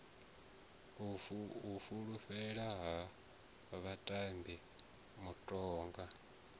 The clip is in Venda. u fulufhedzea ha vhatambi mutoga